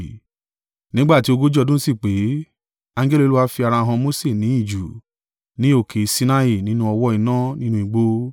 “Nígbà tí ogójì ọdún sì pé, angẹli Olúwa fi ara han Mose ní ijù, ní òkè Sinai, nínú ọ̀wọ́-iná nínú igbó.